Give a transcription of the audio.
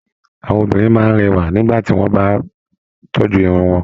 Àwọn obìnrin máa n rẹwa nígbà tí wọn bá tọ́jú Irun wọn.